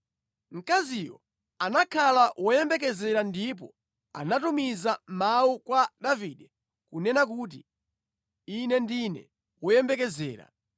Mkaziyo anakhala woyembekezera ndipo anatumiza mawu kwa Davide kunena kuti, “Ine ndine woyembekezera.”